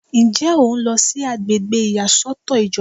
Ǹjẹ́ o ń lọ sí àgbègbè ìyàsọ́tọ̀ ìjọba?